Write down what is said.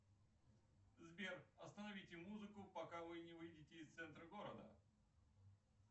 сбер остановите музыку пока вы не выйдете из центра города